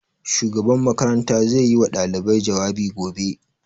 Shugaban makaranta zai yi wa ɗalibai jawabi gobe